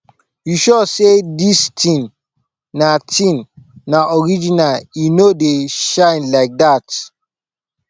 you sure say this thing na thing na original e no dey shine like that